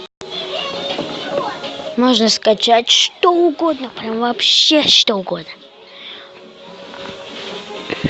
можно скачать что угодно прямо вообще что угодно